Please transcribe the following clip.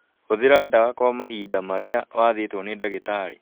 Hũthĩra ndawa kwa mahinda marĩa wathĩtwo nĩ ndagĩtarĩ